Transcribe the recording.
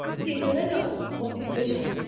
Viskiyə görə də 35 sent.